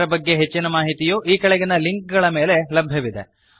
ಇದರ ಬಗ್ಗೆ ಹೆಚ್ಚಿನ ಮಾಹಿತಿಯು ಈ ಕೆಳಗಿನ ಲಿಂಕ್ ಗಳ ಮೇಲೆ ಲಭ್ಯವಿದೆ